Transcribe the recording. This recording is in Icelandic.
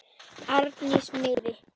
Arndísi miði.